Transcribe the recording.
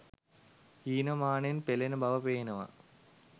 හීන මානෙන් පෙලෙන බව පේනවා.